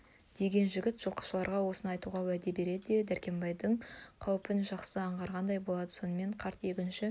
деген жігіт жылқышыларға осыны айтуға уәде берді өзі дәркембайдың қауіпін жақсы аңғарғандай болды сонымен қарт егінші